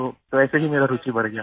तो वैसे ही मेरा रूचि बढ़ गया